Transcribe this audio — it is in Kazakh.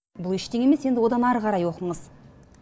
бұл ештеңе емес енді одан ары қарай оқыңыз